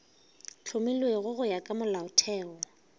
hlomilwego go ya ka molaotheo